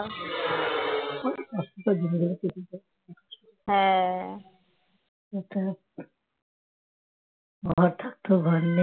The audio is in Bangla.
কষ্টে দিনগুলো কেটেছে একটা ঘর থাকতেও ঘর নেই